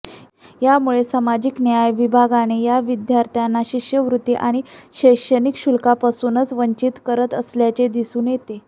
यामुळे सामाजिक न्याय विभागाने या विद्यार्थ्यांना शिष्यवृत्ती आणि शैक्षणिक शुल्कापासूनच वंचित करत असल्याचे दिसून येते